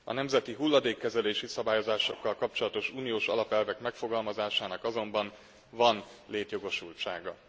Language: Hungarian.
A nemzeti hulladékkezelési szabályokkal kapcsolatos uniós alapelvek megfogalmazásának azonban van létjogosultsága.